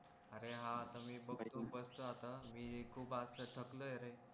अरे हां आता मी बघतो बसतो आता मी आता खूप थकलोय रे